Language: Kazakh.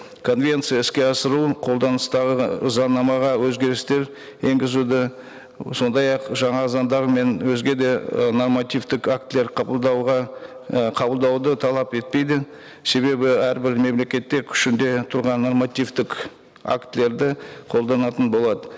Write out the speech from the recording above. конвенция іске асыру қолданыстағы заңнамаға өзгерістер енгізуді сондай ақ жаңа заңдар мен өзге де ы нормативтік актілер қабылдауға і қабылдауды талап етпейді себебі әрбір мемлекетте күшінде тұрған нормативтік актілерді қолданатын болады